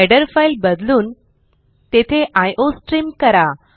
header file बदलून तेथे iostream करा